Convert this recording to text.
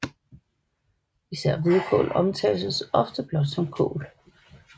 Især hvidkål omtales ofte blot som kål